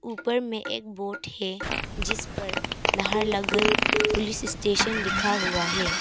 ऊपर में एक बोर्ड है जिस पर लहालगन पुलिस स्टेशन लिखा हुआ है।